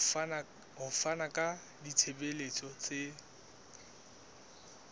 ho fana ka ditshebeletso tse